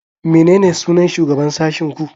Menene sunan shugaban sashin ku?